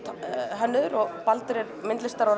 hönnuður og Baldur er myndlistar og